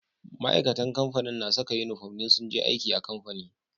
Ma'aikatan kamfani na Saka inufom idan sunje aiki a kamfani